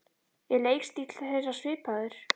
Er leikstíll þeirra svipaður?